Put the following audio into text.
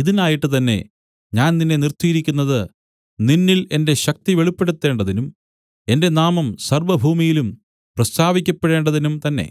ഇതിനായിട്ട് തന്നേ ഞാൻ നിന്നെ നിർത്തിയിരിക്കുന്നത് നിന്നിൽ എന്റെ ശക്തി വെളിപ്പെടുത്തേണ്ടതിനും എന്റെ നാമം സർവ്വഭൂമിയിലും പ്രസ്താവിക്കപ്പെടേണ്ടതിനും തന്നേ